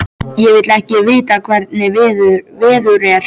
Ég vil ekki vita hvernig veður er.